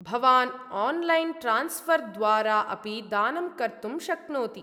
भवान् online transfer द्वारा अपि दानं कर्तुं शक्नोति।